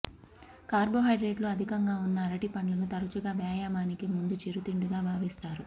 కార్బోహైడ్రేట్లు అధికంగా ఉన్న అరటిపండ్లను తరచుగా వ్యాయామానికి ముందు చిరుతిండిగా భావిస్తారు